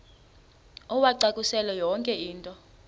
uwacakushele yonke into